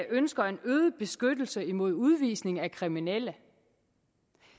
ønsker en øget beskyttelse mod udvisning af kriminelle